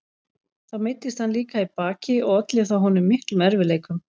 Þá meiddist hann líka í baki og olli það honum miklum erfiðleikum.